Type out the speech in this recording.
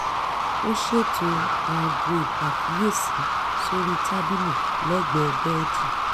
ó ṣètò aago ìpàkíyèsí sórí tábìlì lẹ́gbẹ̀ẹ́ bẹ́ẹ̀dì